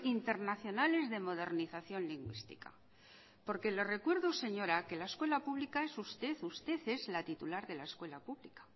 internacionales de modernización lingüística porque le recuerdo señora que la escuela pública es usted usted es la titular de la escuela pública